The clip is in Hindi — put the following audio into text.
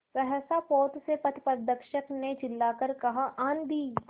सहसा पोत से पथप्रदर्शक ने चिल्लाकर कहा आँधी